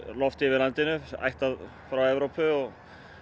loft yfir landinu ættað frá Evrópu og